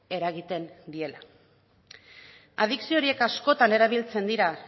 eragiten diela adikzio horiek askotan erabiltzen dira